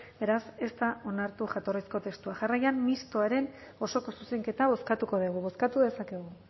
beraz ez da onartu jatorrizko testua jarraian mistoaren osoko zuzenketa bozkatuko dugu bozkatu dezakegu